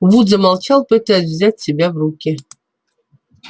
вуд замолчал пытаясь взять себя в руки